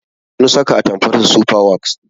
Sun saka atamfarsu sufa waks